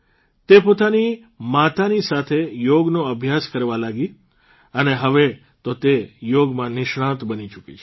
તે પોતાની માતાની સાથે યોગનો અભ્યાસ કરવા લાગી અને હવે તો તે યોગમાં નિષ્ણાત બની ચૂકી છે